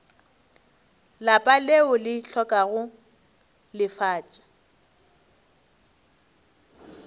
lapa leo le hlokago lefatša